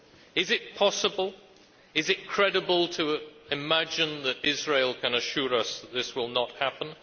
Is it possible, is it credible, to imagine that Israel can assure us that this will not happen?